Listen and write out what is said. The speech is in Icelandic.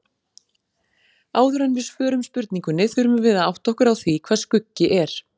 Áður en við svörum spurningunni þurfum við að átta okkur á því hvað skuggi er.